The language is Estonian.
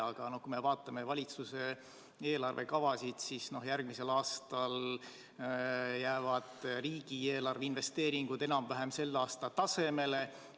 Aga kui me vaatame valitsuse eelarvekavasid, siis järgmisel aastal jäävad riigieelarve investeeringud enam-vähem selle aasta tasemele.